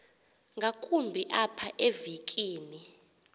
ngakumbi apha evekini